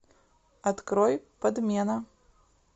открой подмена